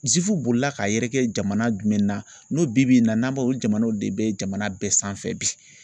bolila ka yɛrɛ kɛ jamana jumɛn na n'o bi bi na n'an b'a o jamanaw de bɛ jamana bɛɛ sanfɛ bi.